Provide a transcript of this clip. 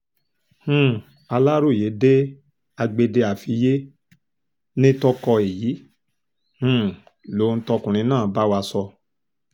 um aláròye dé agbede àfiyé nìtọ́kọ èyí um lohun tọ́kùnrin náà bá wa sọ